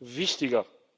wichtiger.